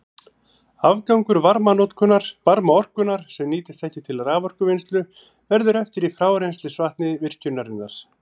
Afgangur varmaorkunnar, sem nýtist ekki til raforkuvinnslu, verður eftir í frárennslisvatni virkjunarinnar.